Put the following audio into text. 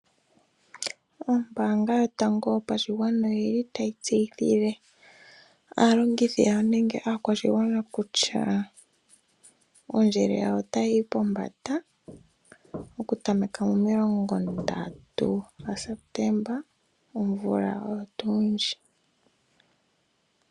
Ombaanga yotango yopashigwana oyili tayi tseyithile aalongithi yawo, nenge aakwashigwana kutya, ondjele yawo otayi yi pombanda, okutameka momilongo ndatu gaSeptemba omvula oyo tuu ndjika.